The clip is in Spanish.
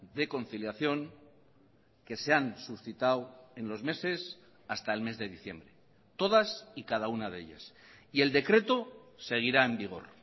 de conciliación que se han suscitado en los meses hasta el mes de diciembre todas y cada una de ellas y el decreto seguirá en vigor